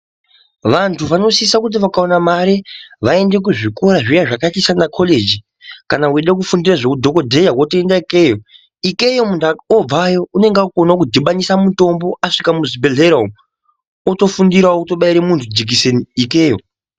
Vantu vasisa kuti vakawana mari vaende kuzvikora zviya zvakaita saana kolegi kana weida kufundirra zveudhokodheya ikeyo ikeyomuntu unobvayo unenge akukona kudhibanisa mitombo asvika muchibhehleya otofundirawo kubaira jikideni ikeyo.